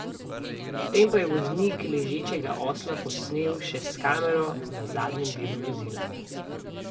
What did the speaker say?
Potem pa je voznik ležečega osla posnel še s kamero na zadnjem delu vozila.